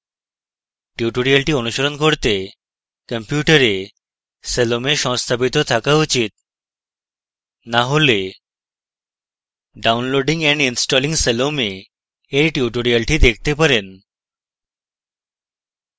tutorial অনুসরণ করতে কম্পিউটারে salome সংস্থাপিত থাকা উচিত to হলে downloading and installing salome এর tutorial দেখতে পারেন